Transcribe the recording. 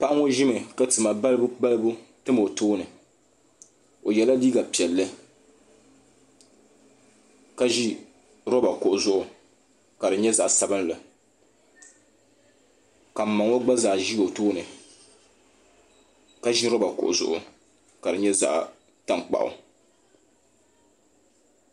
Paɣa ŋɔ ʒimi ka tima balibu balibu tam o tooni o yela liiga piɛlli ka ʒi loba kuɣu zuɣu ka di nyɛ zaɣa sabinli ka mma ŋɔ gba zaa ʒi o tooni ka ʒi loba kuɣu zuɣu ka di nyɛ zaɣa tankpaɣu.